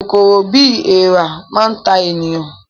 Kòkòrò bíi èèrà máa ta ènìyàn